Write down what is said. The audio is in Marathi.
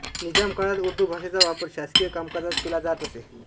निजाम काळात उर्दू भाषेचा वापर शासकीय कामकाजात केला जात असे